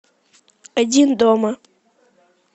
один дома